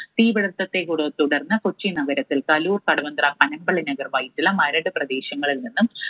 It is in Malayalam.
തീപിടുത്തത്തെ തുടർന്ന് കൊച്ചി നഗരത്തിൽ കലൂർ, കടവന്ത്ര, പനമ്പള്ളി നഗർ, വൈറ്റില മരട് പ്രദേശങ്ങളിൽ നിന്നും